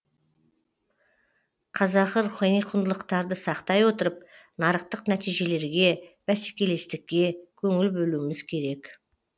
қазақы рухани құндылықтарды сақтай отырып нарықтық нәтижелерге бәсекелестікке көңіл бөлуіміз керек